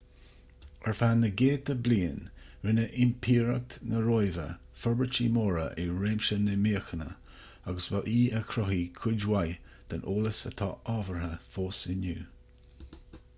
ar feadh na gcéadta bliain rinne impireacht na róimhe forbairtí móra i réimse na míochaine agus ba í a chruthaigh cuid mhaith den eolas atá ábhartha fós inniu